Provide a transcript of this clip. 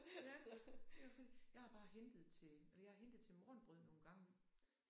Ja jeg har bare hentet til eller jeg har hentet til morgenbrød nogle gange